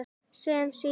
Sem hann síðar varð.